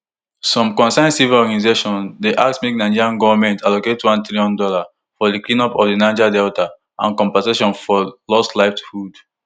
some concerned civil organisations dey ask make nigerian goment allocate one trillion dollar for di cleanup of di niger delta and compensation for lost livelihoods